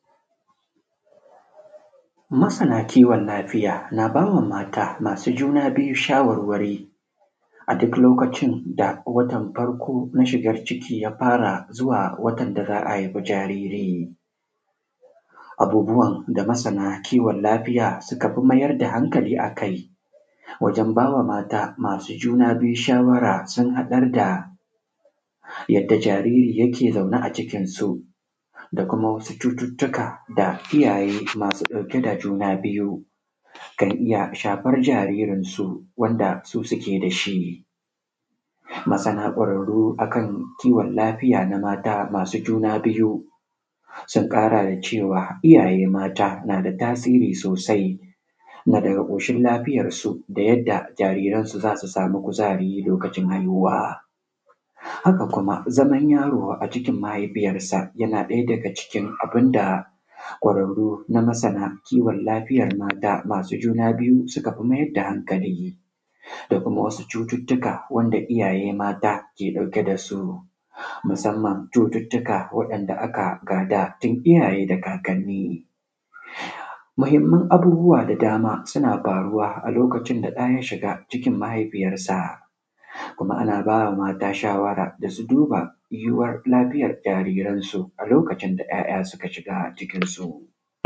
Masana kiwon lafiya na ba mata masu juna biyu shawarawari a duk lokacin da watan farƙo na shigan ciki ya fara zuwa watan da za a haifi jariri abubuwan da masana kiwon lafiya suka fi mayar da hankali akai wajen ba wa mata masu juna biyu shawara sun haɗa da yadda jariri yake zaune a cikinsu da kuma wasu cututtuka da kiyaye masu juna biyu kan iya shafan jaririn su wanda su suke da shi masana kwararru akan cututtuka na mata masu juna biyu sun ƙara da cewa iyaye mata na da tasiri sosai na daga ƙoshin lafiyarsu da yadda jaririn su za su samu kuzari lokacin haihuwa haka kuma zaman yaro a cikin mahaifiyansa na ɗaya da cikin abun da kwararru na masana kiwon lafiya masu juna biyu sukan mayar da hankali da kuma wasu cututtuka wanda iyaye mata suke ɗauki da su musamman cututtuka wanda aka gada tun iyaye da kakanni mahinaman abubuwa da dama suna faruwa a lokacin da ɗa ya shiga a cikin mahaifiyansan kuma ana ba mata shawara da su duba yiyuwar lafiyar jaririn su a lokuntan da ‘ya’ya suka shiga a cikin su.